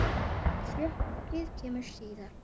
Sjokkið kemur síðar.